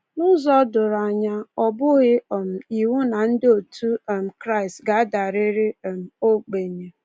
N’ụzọ doro anya, ọ bụghị um iwu na ndị otu um Kraịst ga-adarịrị um ogbenye.